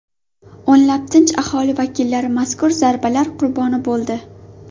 O‘nlab tinch aholi vakillari mazkur zarbalar qurboni bo‘ldi.